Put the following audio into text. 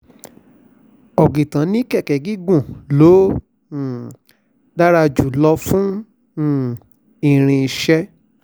ọ̀gìtàn ni kẹ̀kẹ́ gígùn ló um dára jù lọ fún um irinṣẹ́